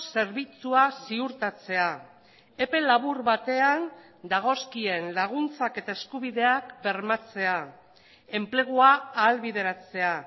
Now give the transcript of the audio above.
zerbitzua ziurtatzea epe labur batean dagozkien laguntzak eta eskubideak bermatzea enplegua ahalbideratzea